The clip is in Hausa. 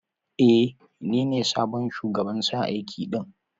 E, ni ne sabon shugaban sa aiki din.